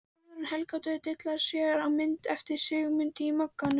Guðrún Helgadóttir dillar sér á mynd eftir Sigmund í Mogganum.